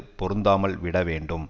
பொருந்தாமல் விட வேண்டும்